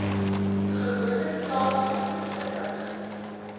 gewoonlik plaaswerk verrig